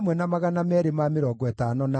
na cia Adonikamu ciarĩ 666,